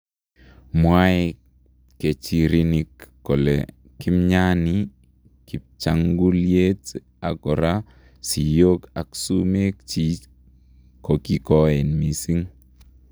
Mwae pkerichinik kole kimnyanii kibchangulyeet ako koraa siyook ak sumeek chik kokikoeen missing.